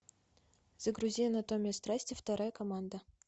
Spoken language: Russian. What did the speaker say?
загрузи анатомия страсти вторая команда